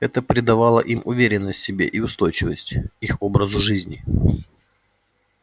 это придавало им уверенность в себе и устойчивость их образу жизни